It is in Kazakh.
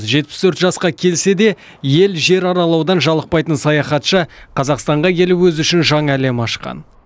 жетпіс төрт жасқа келсе де ел жер аралаудан жалықпайтын саяхатшы қазақстанға келіп өзі үшін жаңа әлем ашқан